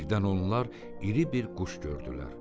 Birdən onlar iri bir quş gördülər.